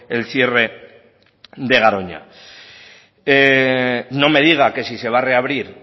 el cierre de garoña no me diga que si se va a reabrir